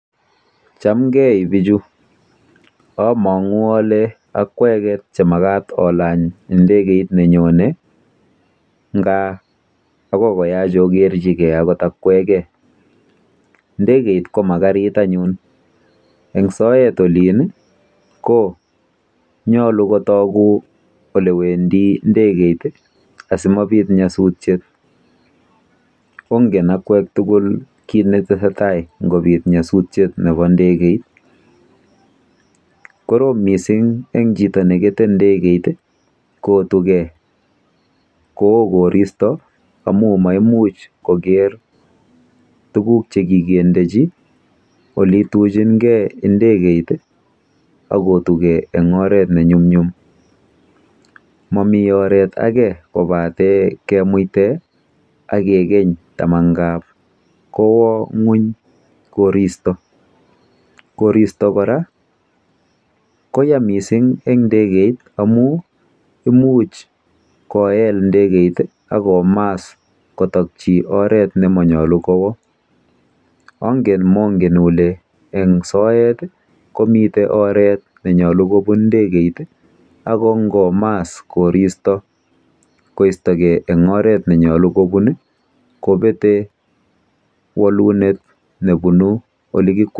Chamgei bichu. Amang'u ale akwek che makat olany ndekeit nenyonei lakini akoi koyach okerchigei akot akwekei. Ndekeit ko ma karit anyun. Eng soet olin konyolu kotoku soet nebune ndekeit